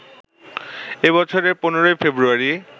এ বছরের ১৫ই ফেব্রুয়ারি